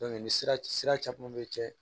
ni sira sira caman bɛ cɛ